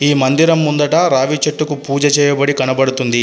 ఈ మందిరం ముందట రావి చెట్టుకు పూజ చేయబడి కనబడుతుంది.